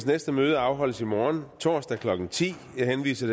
næste møde afholdes i morgen torsdag klokken ti jeg henviser